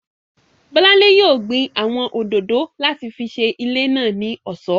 Bọ́lánlé yóò gbin àwọn òdòdó láti fi ṣe ilé náà ní ọ̀ṣọ́